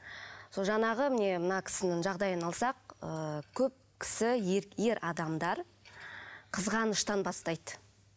сол жаңағы міне мына кісінің жағдайын алсақ ыыы көп кісі ер адамдар қызғаныштан бастайды